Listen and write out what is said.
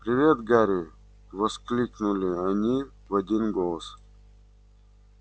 привет гарри воскликнули они в один голос